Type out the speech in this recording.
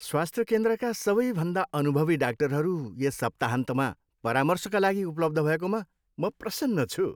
स्वास्थ्य केन्द्रका सबैभन्दा अनुभवी डाक्टरहरू यस सप्ताहन्तमा परामर्शका लागि उपलब्ध भएकोमा म प्रसन्न छु।